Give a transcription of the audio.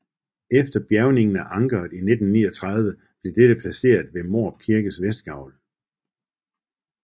Efter bjergningen af ankeret i 1939 blev dette placeret ved Mårup Kirkes vestgavl